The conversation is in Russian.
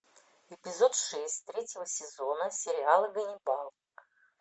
эпизод шесть третьего сезона сериала ганнибал